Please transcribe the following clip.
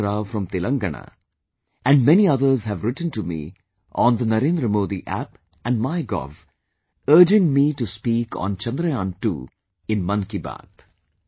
Arvind Rao from Telangana, and many others have written to me on Narendra Modi App and mygov, urging me to speak on Chandrayaan II in Mann Ki Baat